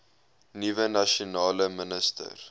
nuwe nasionale minister